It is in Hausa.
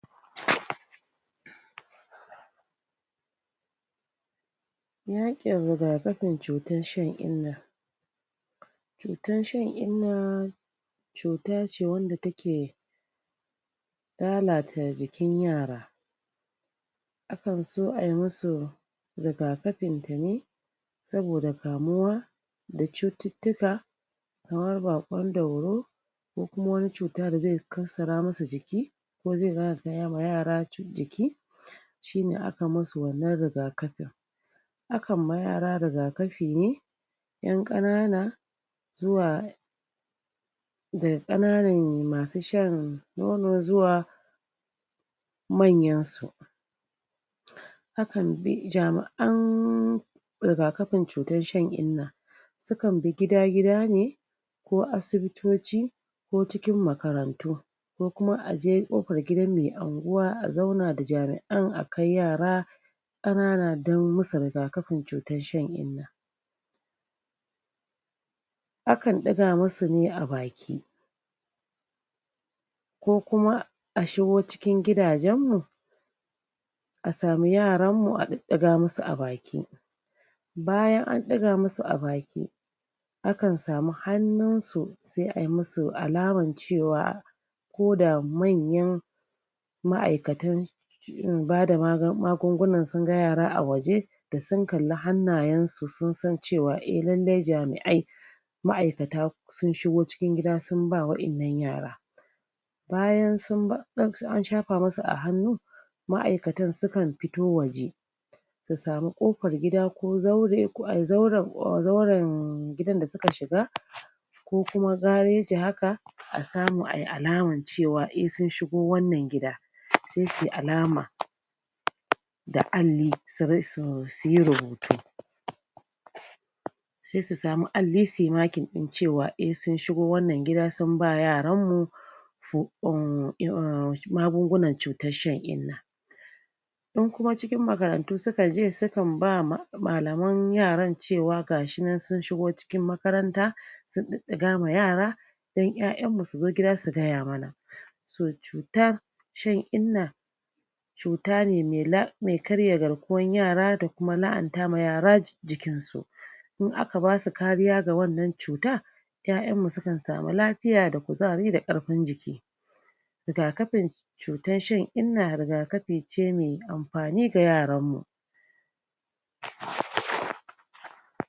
? yaƙin rigakafin cutar shan inna cutan shan inna cuta ce wanda ta ke lalata jikin yara a kan so ai musu rigakafinta ne saboda kamuwa da cututtuka kamar baƙon dauro kamar baƙon dauro ko kuma wani cuta da zai kassara musu jiki ko zai lalata ma yara jiki shine a kan musu wannan rigakafin a kan ma yara rigakafi ne 'yan ƙanana zuwa da ƙananan masu shan nono zuwa manyansu a kan bi jami'an rigakafin cutan shan inna su kan bi gida gida ne ko asibitoci ko cikin makarantu ko kuma aje ƙofar gidan mai anguwa a zauna da jami'an a kai yara ƙanana don musu rigakafin cutar shan inna a kan ɗiga musu ne a baki ko kuma a shigo cikin gidajen mu a samu yaran mu a ɗiɗɗiga musu a baki bayan an ɗiga musu a baki a kan sami hannunsu sai ai musu alaman cewa ko da manyan ma'aikatan ma'aikatan? bada magungunan sun ga yara a waje da sun kalli hannayen su sun san cewa eh lallai jami'ai ma'aikata sun shigo cikin gida sun ba wa'innan yara bayan sun ba cin an shafa musu a hannu ma'aikatan su kan fito waje su sami ƙofar gida ko zaure zauren gidan da suka shiga ko kuma gareji haka a samu ai alaman cewa ehssun shigo wannan gida a samu ai alaman cewa ehssun shigo wannan gida sai suyi alama? da alli suyi rubutu sai su sami alli suyi marking ɗin cewa eh sun shigo wannan gida sun ba yaran mu um um magungunan cutan shan inna in kuma cikin makarantu sukaje su kan ba ma malaman yaran cewa ga shi nan sun shigo cikin makaranta sun ɗiɗɗiga ma yara don 'ya'yan mu su zo gida su gaya mana so cutar shan inna cuta ne mai karya um garkuwan yara da kuma lahanta ma yara jikinsu in aka basu kariya ga wannan cuta 'ya'yan mu su kan samu lafiya da kuzari da ƙarfin jiki rigakafin cutan shan inna rigakafi? mai amfani da yaran mu??